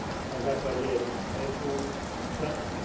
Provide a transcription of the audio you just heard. na základe veku v praxi.